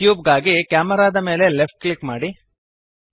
cube ಗಾಗಿ camera ದ ಮೇಲೆ ಲೆಫ್ಟ್ ಕ್ಲಿಕ್ ಮಾಡಿರಿ